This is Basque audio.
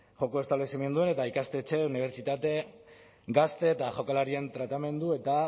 joko establezimenduen eta ikastetxe unibertsitate gazte eta jokalarien tratamendu eta